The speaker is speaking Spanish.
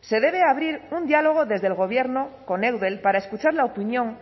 se debe abrir un diálogo desde el gobierno con eudel para escuchar la opinión